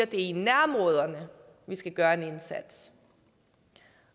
i nærområderne vi skal gøre en indsats